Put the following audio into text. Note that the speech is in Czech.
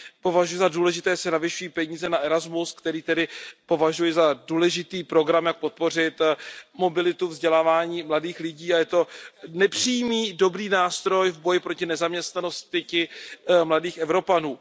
Považuji za důležité, že se navyšují peníze na Erasmus, který tedy považuji za důležitý program, jak podpořit mobilitu a vzdělávání mladých lidí, a je to nepřímý dobrý nástroj v boji proti nezaměstnanosti mladých Evropanů.